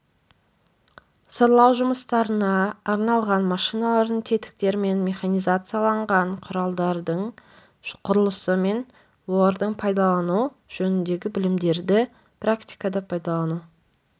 сырлау жұмыстарына арналған машиналардың тетіктер мен механизацияланған құралдардың құрылысы мен оларды пайдалану жөніндегі білімдерді практикада пайдалану